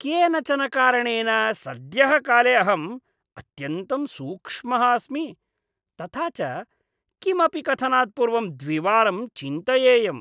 केनचन कारणेन सद्यःकाले अहम् अत्यन्तं सूक्ष्मः अस्मि, तथा च किमपि कथनात् पूर्वं द्विवारं चिन्तयेयम्।